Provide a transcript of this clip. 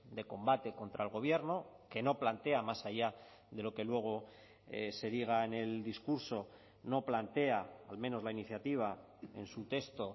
de combate contra el gobierno que no plantea más allá de lo que luego se diga en el discurso no plantea al menos la iniciativa en su texto